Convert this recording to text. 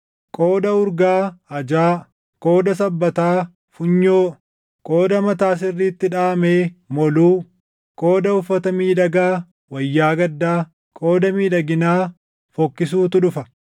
Qooda urgaa, ajaa; qooda sabbataa, funyoo; qooda mataa sirriitti dhaʼamee, moluu; qooda uffata miidhagaa, wayyaa gaddaa; qooda miidhaginaa fokkisuutu dhufa.